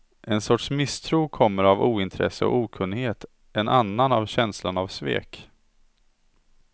En sorts misstro kommer av ointresse och okunnighet, en annan av känslan av svek.